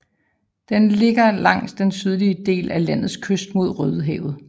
Den ligger langs den sydlige dele af landets kyst mod Rødehavet